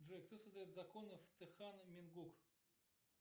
джой кто создает законы в техано менгук